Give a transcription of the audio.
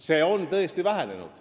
Siin ei ole üldse küsimust.